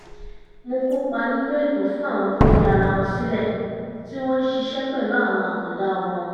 mo kópa nínú ètò fún àwọn tó fi ara wọn sílẹ̀ tí wọ́n ń ṣiṣẹ́ pẹ̀lú àwọn àkàndá ọmọ